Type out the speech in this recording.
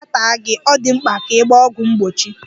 Nkịta taa gị, ọ dị mkpa ka ị gba ọgwụ mgbochi.